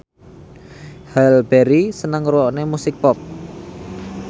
Halle Berry seneng ngrungokne musik pop